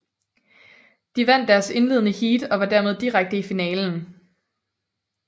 De vandt deres indledende heat og var dermed direkte i finalen